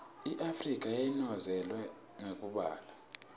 iafrika yacinozetelwa ngekweubala